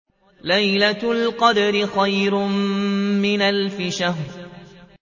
لَيْلَةُ الْقَدْرِ خَيْرٌ مِّنْ أَلْفِ شَهْرٍ